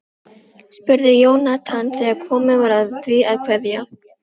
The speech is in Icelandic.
Hann hafði öxi gullrekna í handarkrikanum.